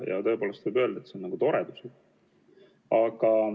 Ja tõepoolest võib öelda, et see on nagu toredus.